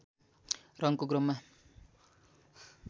रङको क्रममा